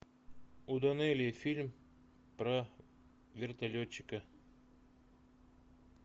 у данелия фильм про вертолетчика